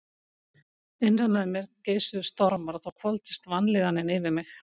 Innra með mér geisuðu stormar og þá hvolfdist vanlíðanin yfir mig.